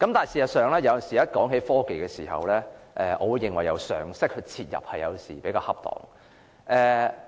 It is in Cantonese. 事實上，當談及科技時，我認為由常識切入比較恰當。